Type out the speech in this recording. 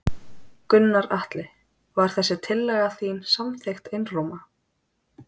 Gunnar Atli: Var þessi tillaga þín samþykkt einróma?